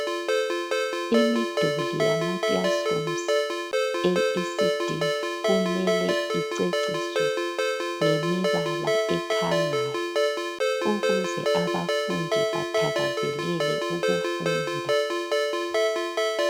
Imiduli yama classrooms e ECD kumele iceciswe. Ngemibala ekhangayo ukuze abafundi bathakazelele ukufunda.